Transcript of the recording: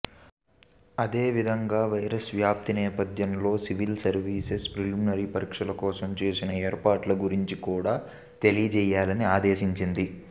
అదేవిధంగా వైరస్ వ్యాప్తి నేపథ్యంలో సివిల్ సర్వీసెస్ ప్రిలిమినరీ పరీక్షల కోసం చేసిన ఏర్పాట్ల గురించి కూడా తెలియజేయాలని ఆదేశించింది